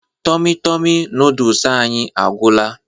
Tomi Tomi noodolus anyị agwụla